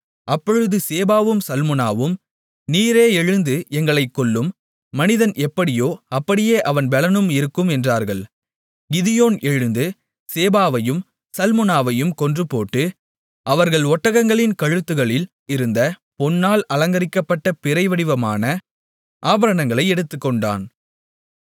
அப்பொழுது சேபாவும் சல்முனாவும் நீரே எழுந்து எங்களைக் கொல்லும் மனிதன் எப்படியோ அப்படியே அவன் பெலனும் இருக்கும் என்றார்கள் கிதியோன் எழுந்து சேபாவையும் சல்முனாவையும் கொன்றுபோட்டு அவர்கள் ஒட்டகங்களின் கழுத்துகளில் இருந்த பொன்னால் அலங்கரிக்கப்பட்ட பிறை வடிவமான ஆபரணங்களை எடுத்துக்கொண்டான்